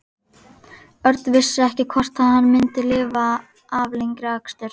Örn vissi ekki hvort hann myndi lifa af lengri akstur.